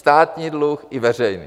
Státní dluh i veřejný.